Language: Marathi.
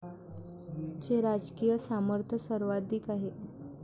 चे राजकीय सामर्थ्य सर्वाधिक आहे.